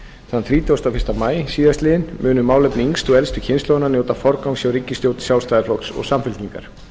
þann þrítugasta og fyrsta maí síðastliðinn munu málefni yngstu og elstu kynslóðarinnar njóta forgangs hjá ríkisstjórn sjálfstæðisflokks og samfylkingar